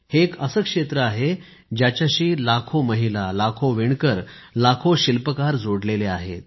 हे एक असे क्षेत्र आहे ज्याच्याशी लाखों महिला लाखो विणकर लाखो शिल्पकार जोडलेले आहेत